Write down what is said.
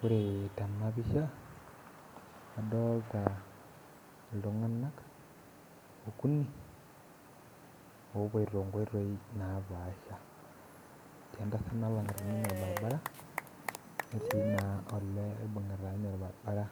Ore tenapisha, adolta iltung'anak okuni, opoito inkoitoi napaasha. Etii entasat nalang'ita ninye orbaribara, netii naa olee oibung'ita ninye orbaribara.